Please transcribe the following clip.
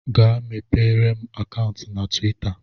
Gaa mepere m akantu na tuwita